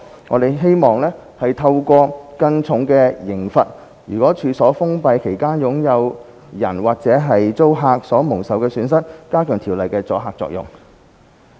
我們希望透過更重的刑罰，及在處所封閉期間處所擁有人及/或租客所蒙受的損失，加強《條例》的阻嚇作用。